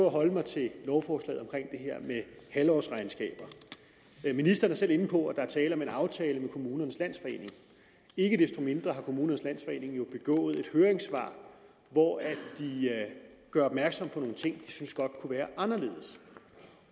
at holde mig til lovforslaget omkring her med halvårsregnskaber ministeren er selv inde på at der er tale om en aftale med kommunernes landsforening ikke desto mindre har kommunernes landsforening jo begået et høringssvar hvori de gør opmærksom på nogle ting synes godt kunne være anderledes